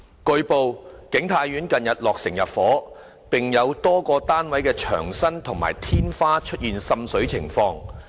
據報，景泰苑近日落成入伙，並有多個單位的牆身及天花出現滲水情況。